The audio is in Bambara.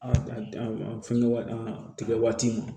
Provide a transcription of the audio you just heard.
A fɛngɛ waati tigɛ waati ma